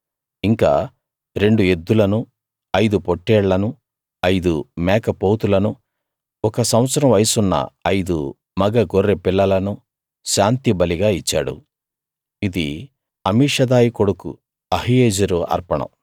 ఇంకా రెండు ఎద్దులను ఐదు పొట్టేళ్లను ఐదు మేకపోతులను ఒక సంవత్సరం వయసున్న ఐదు మగ గొర్రె పిల్లలను శాంతిబలిగా ఇచ్చాడు ఇది అమీషదాయి కొడుకు అహీయెజెరు అర్పణం